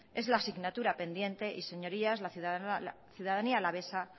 es la asignatura pendiente y señorías la ciudadanía alavesa